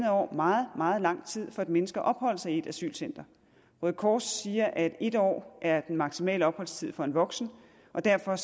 år meget meget lang tid for et menneske at opholde sig i et asylcenter røde kors siger at en år er den maksimale opholdstid for en voksen og derfor er